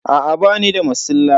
Aa bani da masilla.